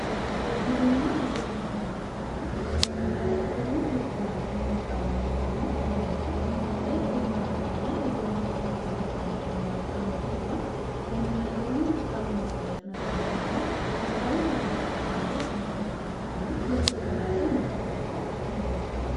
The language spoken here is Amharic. የሲቪልና የፖለቲካ ውስጥ የመሰባሰብ እና በሰላም የመቃወም ነጻነት ማለትም ሰልፍ የማድረግ እና የፖለቲካ ፓርቲ የመቀላቀል መብት አንዱ ሲሆን የመናገርና ሀሳቡን የመግለጽ ነፃነት ደግሞ ሀሳቡን በፈለጉት መንገድ የመግለጽ ወይም በህግ ጥላ ስር መግለጽ መቻል አንዱ ነው